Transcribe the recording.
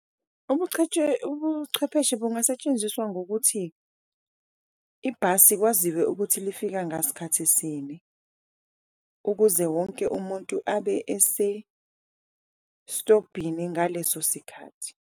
Ubuchwepheshe bungasetshenziswa ngokuthi ibhasi kwaziwe ukuthi lifika ngasikhathi sini, ukuze wonke umuntu abe esestobhini ngaleso sikhathi.